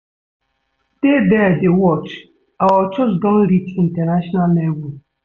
Dey there dey watch, our church don reach international level